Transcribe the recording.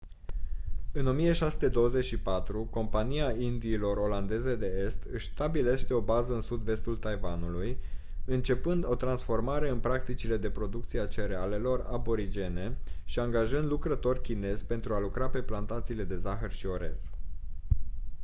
în 1624 compania indiilor olandeze de est își stabilește o bază în sud-vestul taiwanului începând o transformare în practicile de producție a cerealelor aborigene și angajând lucrători chinezi pentru a lucra pe plantațiile de zahăr și orez